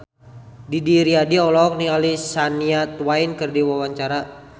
Didi Riyadi olohok ningali Shania Twain keur diwawancara